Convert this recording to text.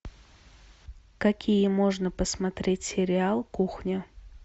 какие можно посмотреть сериал кухня